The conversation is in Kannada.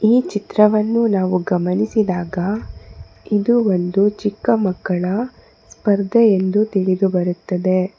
ಈ ಚಿತ್ರವನ್ನು ನಾವು ಗಮನಿಸಿದಾಗ ಇದು ಒಂದು ಚಿಕ್ಕ ಮಕ್ಕಳ ಸ್ಪರ್ಧೆ ಎಂದು ತಿಳಿದು ಬರುತ್ತದೆ.